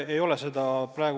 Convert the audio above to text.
Aitäh!